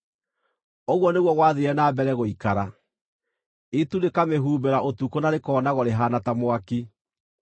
Ũguo nĩguo gwathiire na mbere gũikara; itu rĩkamĩhumbĩra ũtukũ na rĩkoonagwo rĩhaana ta mwaki.